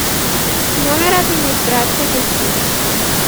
номер администрации гостиницы